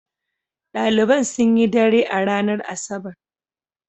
Ɗaliban sun yi dare a ranar Asabar.